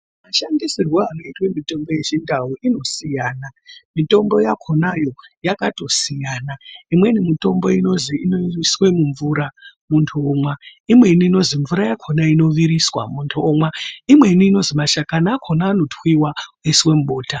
Mashandisirwo anoita mitombo yechindau inosiyana mitombo yakonayo yakatosiyana. imweni mitombo inozi inoiswe mumvura muntu omwa. imweni inozi mvura yakona inoviriswa muntu omwa. imweni inozi mashakani akona anotwiwa oiswa mubota.